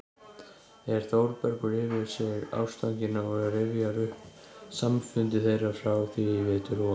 er Þórbergur yfir sig ástfanginn og rifjar upp samfundi þeirra frá því í vetur og